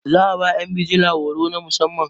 za a ba yan bijila horo na musamman